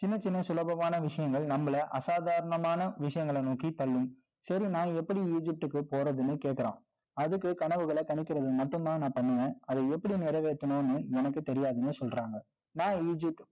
சின்னச் சின்ன சுலபமான விஷயங்கள், நம்மளை அசாதாரணமான விஷயங்களை நோக்கித் தள்ளும் சரி நான் எப்படி Egypt க்கு போறதுன்னு கேட்கிறான். அதுக்கு, கனவுகளை கணிக்கிறது மட்டும்தான், நான் பண்ணுவேன். அதை எப்படி நிறைவேத்தணும்னு எனக்கு தெரியாதுன்னு சொல்றாங்க நான் Egypt